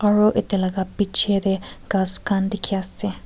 aru ete laga pichey tae ghas khan dekhi ase.